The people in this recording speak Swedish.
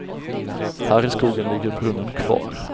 Här i skogen ligger brunnen kvar.